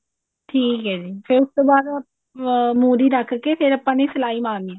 ਠੀਕ ਹੈ ਜੀ ਫ਼ੇਰ ਉਸ ਤੋਂ ਬਾਅਦ ਅਮ ਮੁਰ੍ਹੀ ਰਖ ਕੇ ਫ਼ੇਰ ਆਪਾਂ ਨੇ ਸਲਾਈ ਮਾਰਨੀ ਹੈ